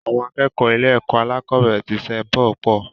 Àwọn akẹ́kọ̀ọ́ ilé-ẹ̀kọ́ alákọ̀ọ́bẹ̀rẹ̀ tí Saint Paul pọ̀.